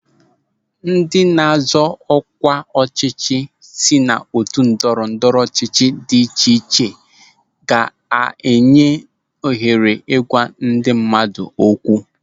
Ndị na-azọ ọkwa ọchịchị si n'otu ndọrọ ndọrọ ọchịchị dị iche iche ka a ga-enye ohere ịgwa ndị mmadụ okwu.